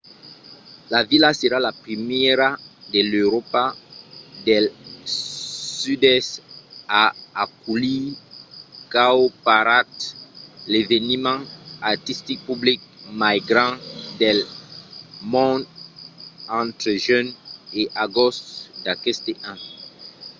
la vila serà la primièra de l'euròpa del sud-èst a aculhir cowparade l'eveniment artistic public mai grand del mond entre junh e agost d'aqueste an